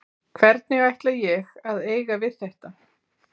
Hvernig ætla ég að eiga við þetta?